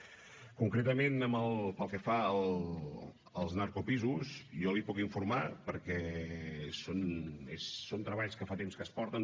concretament pel que fa als narcopisos jo l’hi puc informar perquè són treballs que fa temps que es porten